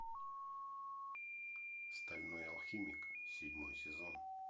стальной алхимик седьмой сезон